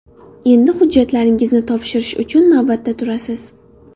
Endi hujjatlaringizni topshirish uchun navbatda turasiz.